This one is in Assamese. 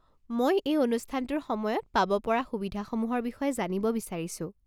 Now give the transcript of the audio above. মই এই অনুষ্ঠানটোৰ সময়ত পাব পৰা সুবিধাসমূহৰ বিষয়ে জানিব বিচাৰিছো।